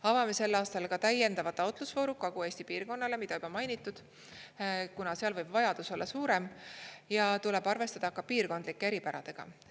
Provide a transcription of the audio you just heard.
Avame sel aastal ka täiendava taotlusvooru Kagu-Eesti piirkonnale, mida juba mainitud, kuna seal võib vajadus olla suurem ja tuleb arvestada ka piirkondlike eripäradega.